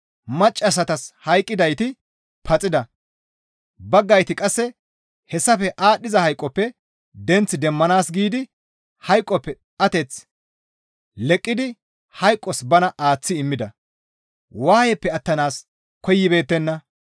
maccassatas hayqqidayti paxida; baggayti qasse hessafe aadhdhiza hayqoppe denth demmanaas giidi hayqoppe ateth leqqidi hayqos bana aaththi immida; waayeppe attanaas koyibeettenna.